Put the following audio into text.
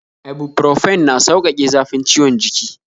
Ibuprofen na sauƙake zafin ciwon jiki